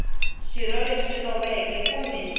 xirho lexi loveke kumbe xi